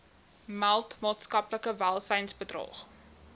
meld maatskaplike welsynsbedrog